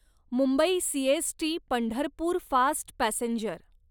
Mumbai CST Pandharpur fast passenger